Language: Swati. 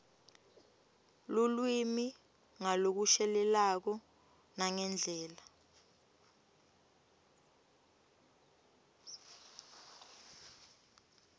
lulwimi ngalokushelelako nangendlela